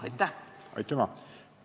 Aitüma!